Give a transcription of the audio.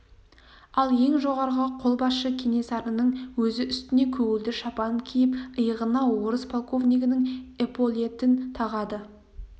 ал ең жоғарғы қолбасшы кенесарының өзі үстіне көгілдір шапан киіп иығына орыс полковнигінің эполетін тағады